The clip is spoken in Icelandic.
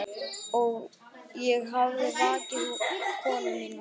Ég hafði vakið konu mína.